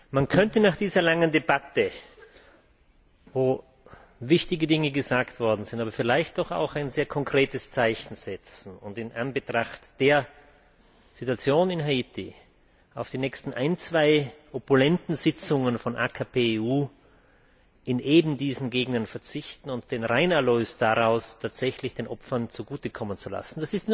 Man könnte nach dieser langen Debatte, in der wichtige Dinge gesagt wurden, vielleicht doch auch ein sehr konkretes Zeichen setzen und in Anbetracht der Situation in Haiti auf die nächsten ein, zwei opulenten Sitzungen von AKP EU in eben diesen Gegenden verzichten und den Reinerlös daraus tatsächlich den Opfern zugute kommen lassen.